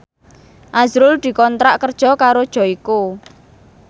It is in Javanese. azrul dikontrak kerja karo Joyko